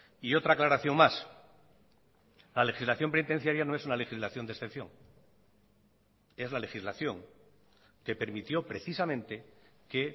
y otra aclaración más la legislación penitenciaria no es una legislación de excepción es la legislación que permitió precisamente que